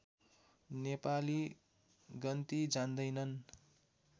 नेपाली गन्ती जान्दैनन्